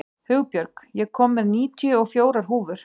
Hugbjörg, ég kom með níutíu og fjórar húfur!